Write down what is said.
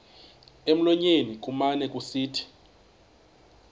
emlonyeni kumane kusithi